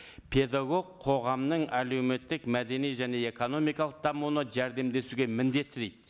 педагог қоғамның әлеуметтік мәдени және экономикалық дамуына жәрдемдесуге міндетті дейді